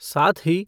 साथ ही,